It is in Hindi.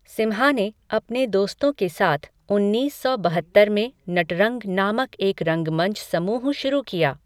सिम्हा ने अपने दोस्तों के साथ उन्नीस सौ बहत्तर में "नटरंग" नामक एक रंगमंच समूह शुरू किया।